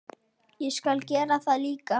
Ég skal gera það líka.